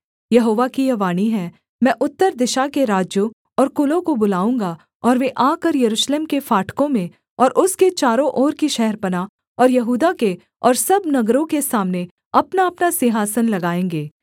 यहोवा की यह वाणी है मैं उत्तर दिशा के राज्यों और कुलों को बुलाऊँगा और वे आकर यरूशलेम के फाटकों में और उसके चारों ओर की शहरपनाह और यहूदा के और सब नगरों के सामने अपनाअपना सिंहासन लगाएँगे